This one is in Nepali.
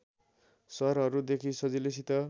शहरहरुदेखि सजिलैसित